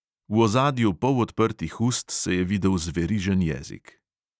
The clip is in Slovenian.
V ozadju polodprtih ust se je videl zverižen jezik.